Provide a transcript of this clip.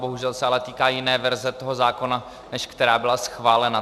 Bohužel se ale týká jiné verze toho zákona, než která byla schválena.